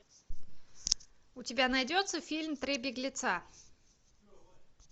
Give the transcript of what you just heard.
у тебя найдется фильм три беглеца